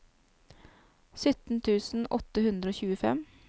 sytten tusen åtte hundre og tjuefem